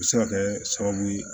U bɛ se ka kɛ sababu ye